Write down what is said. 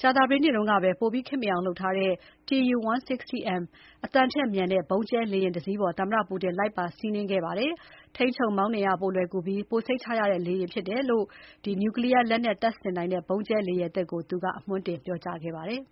ကြာသပတေးနေ့ကပဲ ပိုပြီးခေတ်မှီအောင် လုပ်ထားတဲ့ Tu-160M အသံထက်မြန်တဲ့ဗုံးကြဲလေယာဉ် တစီးပေါ် သမ္မတ Putin လိုက်ပါစီးနင်းခဲ့ပါတယ်။ ထိန်းချုပ်မောင်းနှင်ရ ပိုလွယ်ကူပြီး ပိုစိတ်ချရတဲ့လေယာဉ်ဖြစ်တယ်လို့ နျူကလီးယား လက်နက်တပ်ဆင်နိုင်တဲ့ ဗုံးကြဲလေယာဉ်သစ်ကို သူကအမွှမ်းတင်ပြောခဲ့ပါတယ်။